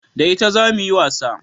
Da ita zamu yi wasa